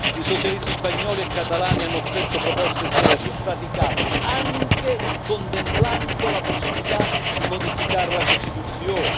I socialisti spagnoli e catalani hanno offerto proposte serie e praticabili, anche contemplando la possibilità di modificare la Costituzione.